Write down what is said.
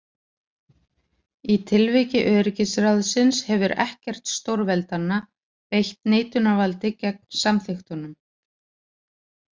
Í tilviki öryggisráðsins hefur ekkert stórveldanna beitt neitunarvaldi gegn samþykktunum.